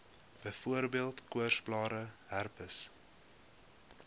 byvoorbeeld koorsblare herpes